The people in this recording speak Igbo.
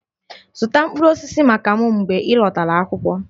Zụta mkpụrụ osisi maka m mgbe ị lọtara akwụkwọ!